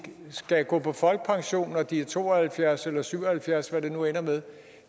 skal gå på folkepension når de er to og halvfjerds eller syv og halvfjerds hvad det nu ender med